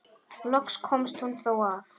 Loks komst hún þó að.